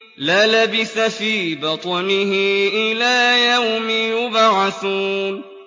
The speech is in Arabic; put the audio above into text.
لَلَبِثَ فِي بَطْنِهِ إِلَىٰ يَوْمِ يُبْعَثُونَ